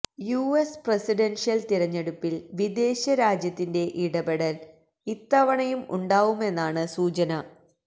US പ്രസിഡന്ഷ്യന് തിരഞ്ഞെടുപ്പില് വിദേശ രാജ്യത്തിന്റെ ഇടപെടല് ഇത്തവണയും ഉണ്ടാവുമെന്നാണ് സൂചന